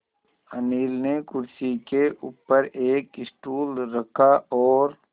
अनिल ने कुर्सी के ऊपर एक स्टूल रखा और